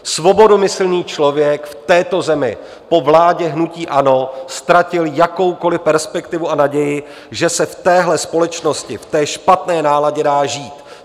Svobodomyslný člověk v této zemi po vládě hnutí ANO ztratil jakoukoli perspektivu a naději, že se v téhle společnosti, v té špatné náladě dá žít.